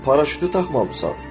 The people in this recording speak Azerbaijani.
Paraşütü taxmamısan.